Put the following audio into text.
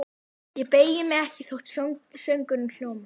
Ég beygi mig ekki þótt söngurinn hljómi